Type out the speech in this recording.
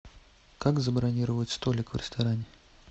как забронировать столик в ресторане